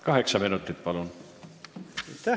Kaheksa minutit, palun!